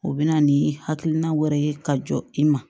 O bɛna ni hakilina wɛrɛ ye ka jɔ i ma